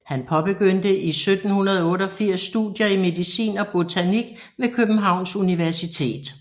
Han påbegyndte i 1788 studier i medicin og botanik ved Københavns Universitet